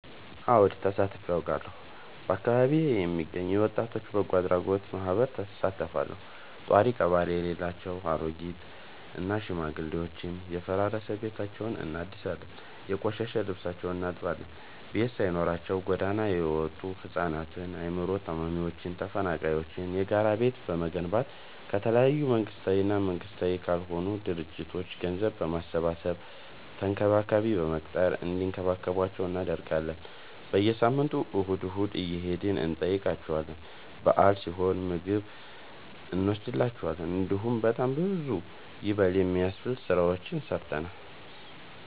አወድ ተሳትፊ አውቃለሁ። በአካቢዬ የሚገኝ የወጣቶች በጎአድራጎት ማህበር እሳተፋለሁ። ጦሪቀባሪ የሌላቸው አሬጊት እና ሽማግሌዎችን የፈራረሰ ቤታቸውን እናድሳለን፤ የቆሸሸ ልብሳቸውን እናጥባለን፤ ቤት ሳይኖራቸው ጎዳና የወጡቱ ህፃናትን አይምሮ ታማሚዎችን ተፈናቃይዎችን የጋራ ቤት በመገንባት ከተለያዩ መንግስታዊ እና መንግስታዊ ካልሆኑ ድርጅቶች ገንዘብ በማሰባሰብ ተንከባካቢ በመቅጠር እንዲከባከቧቸው እናደርጋለን። በየሳምንቱ እሁድ እሁድ እየሄድን እንጠይቃቸዋለን በአል ሲሆን ምግብ እኖስድላቸዋለን። እንዲሁም በጣም ብዙ ይበል የሚያስብ ስራዎችን ሰርተናል።